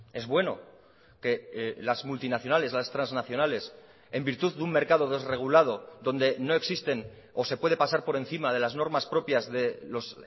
es bueno que las multinacionales las transnacionales en virtud de un mercado desregulado donde no existen o se puede pasar por encima de las normas propias de los